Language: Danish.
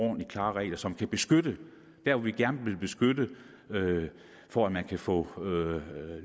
og klare regler som kan beskytte der hvor vi gerne vil beskytte for at man kan få